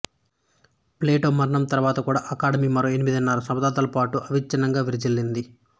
Plato మరణం తర్వాత కూడా అకాడమీ మరో ఎనిమిదిన్నర శతాబ్దాలపాటు అవిచ్ఛిన్నంగా విరాజిల్లింది